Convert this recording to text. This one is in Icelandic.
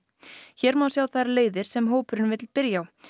hér má sjá þær leiðir sem hópurinn vill byrja á